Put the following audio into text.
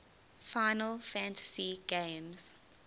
final fantasy games